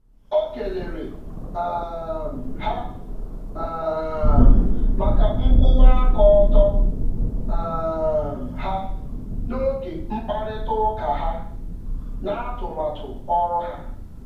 Ọ nwere ekele maka ịdị ọcha n’oge mkparịta ụka ha banyere ọkwa arụmọrụ oru ngo.